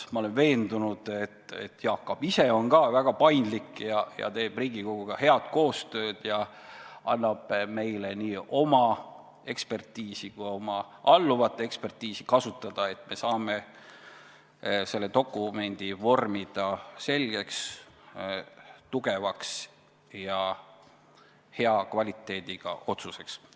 Ma olen veendunud, et Jaak Aab ise on ka väga paindlik, teeb Riigikoguga head koostööd ja annab meile nii oma kui ka oma alluvate ekspertiisi kasutada, et me saame selle dokumendi vormida selgeks, tugevaks ja hea kvaliteediga otsuseks.